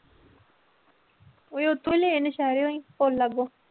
ਉਏ ਉੱਥੋਂ ਹੀ ਲਏ ਨਾ ਸ਼ਹਿਰੋਂ ਹੀ ਭੋਲਾ ਕੋਲ